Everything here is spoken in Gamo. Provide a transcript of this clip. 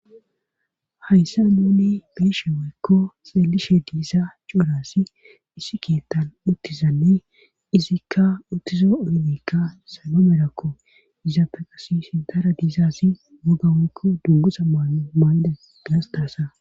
hayssa nuni be7ishe woykko xeelishe diza cuura assi issi keettan uttizanne izikka uttizo oydekka sallo merakko izape qasi sintara diizasi mogawoykko dungusa maano maay7de gasta asa